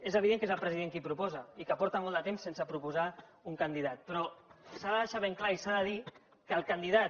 és evident que és el president qui proposa i que fa molt de temps que no proposa un candidat però s’ha de deixar ben clar i s’ha de dir que el candidat